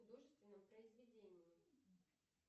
в художественном произведении